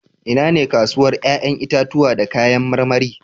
Inane kasuwar 'ƴa'ƴan itatuwa da kayan marmari?